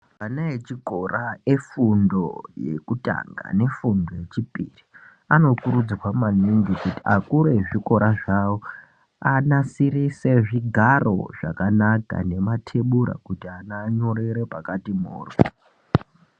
Vana echikora efundo yekutanga nefundo yechipiri anokurudzirwa maningi kuti akuri ezvichikora zvavo anasirise zvigaro zvakanaka nematebura kuti anyorere pakati mohyo.